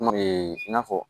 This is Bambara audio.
i n'a fɔ